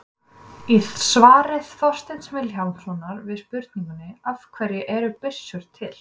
Í svari Þorsteins Vilhjálmssonar við spurningunni Af hverju eru byssur til?